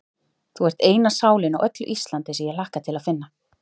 Þú ert eina sálin á öllu Íslandi, sem ég hlakka til að finna.